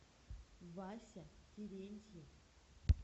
вася терентьев